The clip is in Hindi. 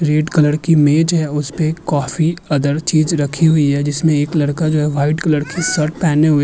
रेड कलर की मेज है। उसपे कॉफी अदर चीज रखी हुई है जिसमें एक लड़का जो है व्हाइट कलर की शर्ट पहने हुए --